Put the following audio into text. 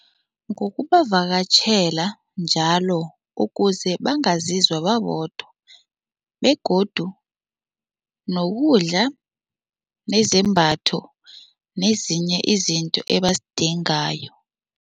Ngokubavakatjhela njalo ukuze bangazizwa babodwa begodu nokudla nezembatho nezinye izinto ebazidingayo.